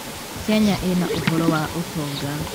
Kenya ĩna ũhoro wa ũtonga.